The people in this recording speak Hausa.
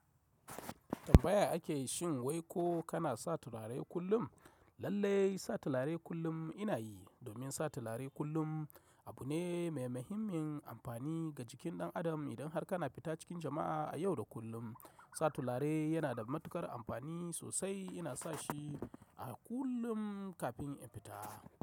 Tambaya ake yi shin wai ko kana sa turare kullum? Lallai sa turare kullum ina yi domin sa turare kullum abu ne mai muhimmin amfani ga jikin ɗan adam. Idan har kana fita cikin jama'a a yau da kullum, sa turare yana da matuƙar amfani sosai. Ina sa shi a kullum kafin in fita.